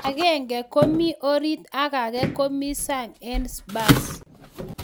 Agenge komi orit ak age komi sang en Spurs?